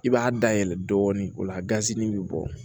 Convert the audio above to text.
I b'a dayɛlɛ dɔɔni o la gazi be bɔ